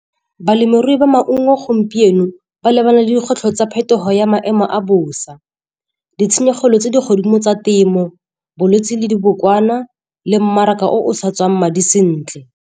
Balemirui ba maungo gompieno ba lebana le dikgwetlho tsa phetogo ya maemo a bosa, ditshenyegelo tse di godimo tsa temo, bolwetse le dibokwana le mmaraka o sa tswang madi sentle.